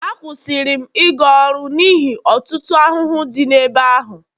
Akwụsịrị m ịga ọrụ n'ihi ọtụtụ ahụhụ dị n'ebe ahụ